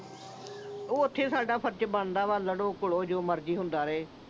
ਉਹ ਉਥੇ ਸਾਡਾ ਫਰਜ਼ ਬਣਦਾ ਆ। ਲੜੋ, ਘੁਲੋ ਚਾਹੇ ਜੋ ਮਰਜ਼ੀ ਹੁੰਦਾ ਰਹੇ।